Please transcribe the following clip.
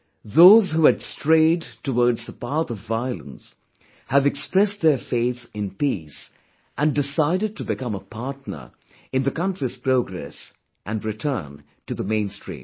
Those who had strayed twards the path of violence, have expressed their faith in peace and decided to become a partner in the country's progress and return to the mainstream